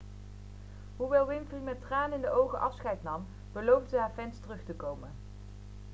hoewel winfrey met tranen in de ogen afscheid nam beloofde ze haar fans terug te komen